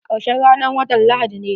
Karshen ranan watan lahadi ne.